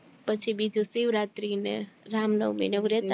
પછી બીજું શિવરાત્રી ને રામનવમી ને એવું રેતા